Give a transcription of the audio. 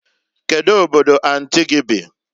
Kedu Obodo anti gi bi?